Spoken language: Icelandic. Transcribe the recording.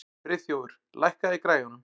Friðþjófur, lækkaðu í græjunum.